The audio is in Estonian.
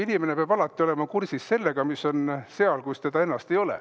Inimene peab alati olema kursis sellega, mis on seal, kus teda ennast ei ole.